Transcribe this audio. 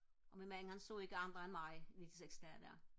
og min mand han så ikke andre end mig i de seks dage der